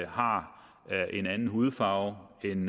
har en anden hudfarve end